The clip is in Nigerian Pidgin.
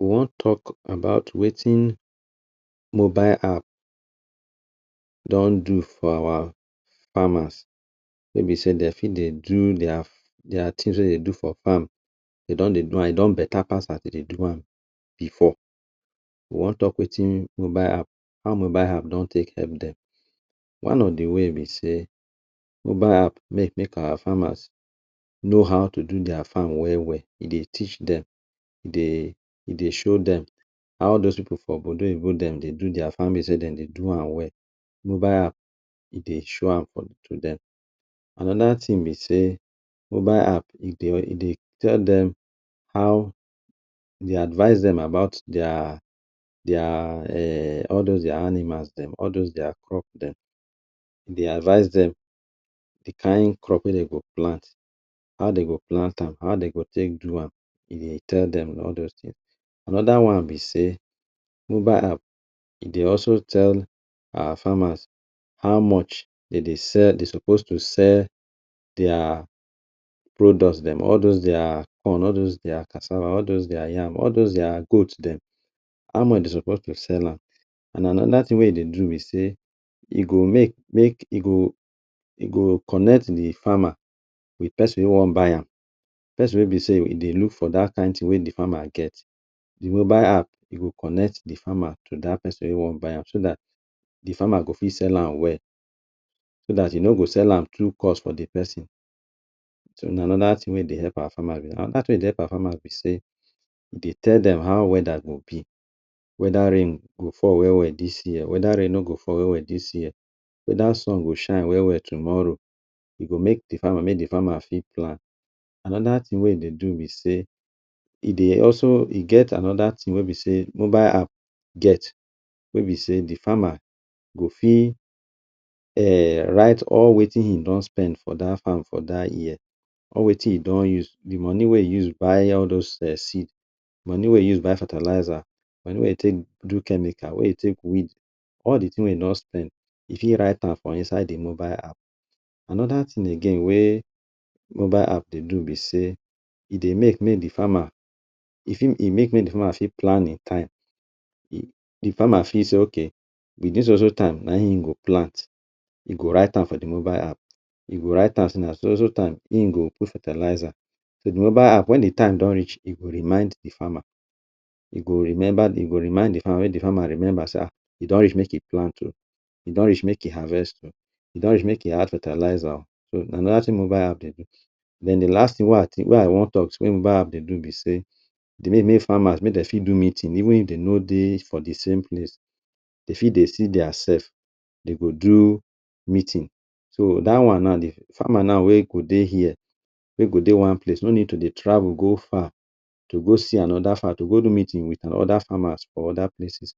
We wan talk about wetin mobile app don do for our farmers wey be sey dem fit dey do their their things wey dey do for farm dey don dey do am e don better pass as dem dey do am before. We wan talk wetin mobile app, how mobile app don take help dem. One of de way better sey; mobile app make make our farmers know how to do there farm well well, e dey teach dem, e dey e dey show dem how those pipu for obodo oyibo dem dey do farming wey be sey dem dey do am well, mobile app e dey show am to dem. Another thing be sey mobile app e dey e dey tell dem how, e dey advice dem about their their um all those their animals dem all those their crop dem, e dey advice dem de kain crop wey dem go plant, how dem go plant am, how dey go take do am e dey tell dem all those things. Another one be sey mobile app e dey also tell our farmers how much dey dey sell dey suppose to sell their products dem: all those their corn, all those their cassava, all those their yam, all those their goat dem; how much dey suppose to sell am. And another thing wey e dey do be sey e go make make, e go e go connect de farmer wit person wey wan buy am, person wey be sey e dey look for dat kain thing wey de farmer get. De mobile app e go connect de farmer to dat person wey wan buy am so dat de farmer go fit sell am well, so dat e no go sell am too cost for de person, so na another thing wey dey help our farmers be dat. Another thing wey dey help our farmers be sey e dey tell dem how weather go be: whether rain go fall well well dis year, whether rain no go fall well well dis year, whether sun go shine well well tomorrow. E go make de farmer make de farmer fit plan. Another thing wey e dey do be sey e dey also e get another thing wey be sey mobile app get wey be sey de farmer go fit um write all wetin him don spend for dat farm for dat year or wetin e don use, de money wey e use buy all those um seed, money wey e use buy fertilizer, money wey e take do chemical, wey e take weed; all de thing wey he don spend he fit write am for inside de mobile app. Another thing again wey mobile app dey do be sey e dey make make de farmer, e fit e make make de farmer fit plan in time. De farmer fit say “ok wit dis so so time na im go plant”. E go write for de mobile app, e go write am sey na so so time im go put fertilizer. So de mobile app wen de time don reach, e go remind de farmer, e go remember im go remind de farmer make de farmer remember “sir, e don reach make you plant oo, e don reach make you harvest oo, e don reach make you add fertilizer”. So na dat thing wey same mobile app dey do. Den de last thing wey I wan talk wey mobile app dey do be sey e dey make farmer make dem fit do meeting even if dey no dey for de same place, dey fit dey see their self dem go do meeting. So dat one now, de farmer wey go dey here, wey go dey one place no need to dey travel go far to go see another farmer dey go go do meeting wit other farmer for other places.